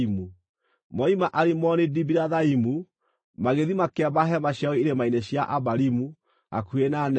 Moima Alimoni-Dibilathaimu, magĩthiĩ makĩamba hema ciao irĩma-inĩ cia Abarimu hakuhĩ na Nebo.